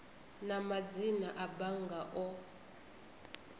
na madzina a bannga o